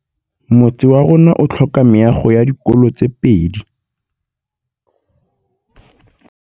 Motse warona o tlhoka meago ya dikolô tse pedi.